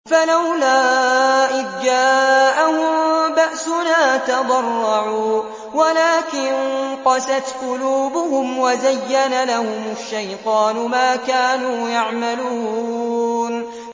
فَلَوْلَا إِذْ جَاءَهُم بَأْسُنَا تَضَرَّعُوا وَلَٰكِن قَسَتْ قُلُوبُهُمْ وَزَيَّنَ لَهُمُ الشَّيْطَانُ مَا كَانُوا يَعْمَلُونَ